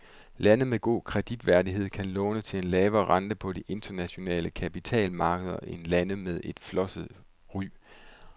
Lande med god kreditværdighed kan låne til en lavere rente på de internationale kapitalmarkeder end lande med flosset ry.